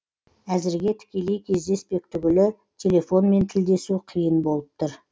әзірге тікелей кездеспек түгілі телефонмен тілдесу қиын болып тұр